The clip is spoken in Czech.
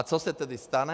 A co se tedy stane?